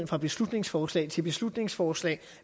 fra beslutningsforslag til beslutningsforslag